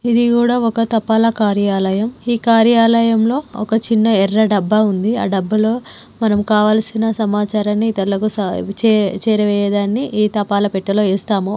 ఇది కూడా ఒక తపాల కార్యాలయం ఈ కార్యాలయంలో ఒక చిన్న ఎర్ర డబ్బా ఉంది అ డబ్బా మనం లో కావాల్సిన సమాచారాన్ని ఇతరులకు చే-చేరవేయడాన్ని ఈ తపాలా పెట్టలో వేస్తాము.